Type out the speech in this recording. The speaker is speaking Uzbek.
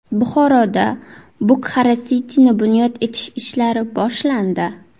Buxoroda Bukhara City’ni bunyod etish ishlari boshlandi.